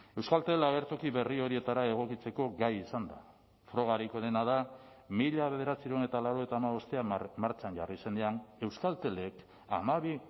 euskaltel agertoki berri horietara egokitzeko gai izan da frogarik onena da mila bederatziehun eta laurogeita hamabostean martxan jarri zenean euskaltelek hamabi